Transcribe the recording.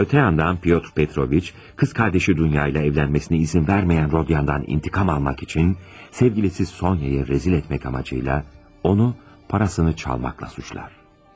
Ötə yandan Pyotr Petroviç, qız qardaşı Dunya ilə evlənməsinə izin verməyən Rodion'dan intiqam almaq üçün, sevgilisi Sonya'yı rəzil etmək amacı ilə, onu parasını çalmaqla suçlar.